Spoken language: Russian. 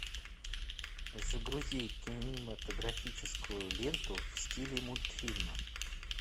загрузи кинематографическую ленту в стиле мультфильма